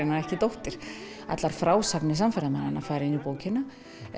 ekki dóttir allar frásagnir fara inn í bókina